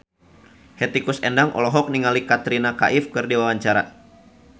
Hetty Koes Endang olohok ningali Katrina Kaif keur diwawancara